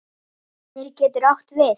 Glitnir getur átt við